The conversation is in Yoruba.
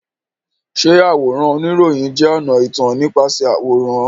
Ṣé àwòrán oníròyìn jẹ́ ọ̀nà ìtàn nípasẹ̀ àwòrán?